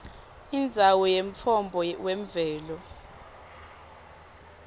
indzawo yemtfombo wemvelo